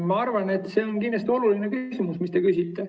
Ma arvan, et see on kindlasti oluline küsimus, mis te küsite.